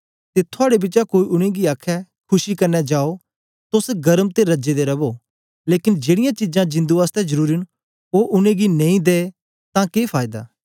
ते थुआड़े बिचा कोई उनेंगी आखे खुशी कन्ने जाओ तोस गर्म ते रज्जे दे रवो लेकन जेड़ीयां चीजां जिंदु आसतै जरुरी न ओ उनेंगी नेई दे तां के फायदा